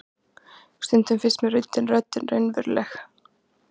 Stundum finnst mér röddin raunveruleg.